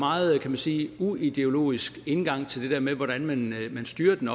meget kan man sige uideologisk indgang til det der med hvordan man styrer den